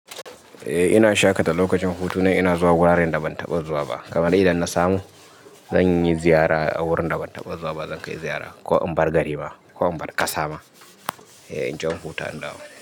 Eh ina shaƙata lokacin hutuna ina zuwa wuraren da ban taɓa zuwa ba. Kabade idan na samu zan yi ziyara a wurin da ban taɓa zuwa ba. Zan kai ziyara ko in bar gari ma ko in bar ƙasa ma. Eh in je nhuta ndawo.